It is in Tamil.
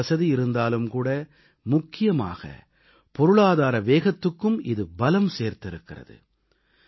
இந்த வசதி இருந்தாலும் கூட முக்கியமாக பொருளாதார வேகத்துக்கும் இது பலம் சேர்த்திருக்கிறது